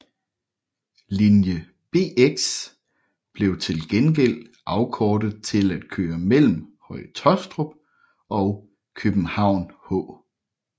Linje Bx blev til gengæld afkortet til at køre mellem Høje Taastrup og København H